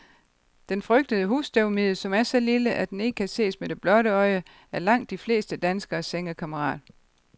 Den frygtede husstøvmide, som er så lille, at den ikke kan ses med det blotte øje, er langt de fleste danskeres sengekammerat.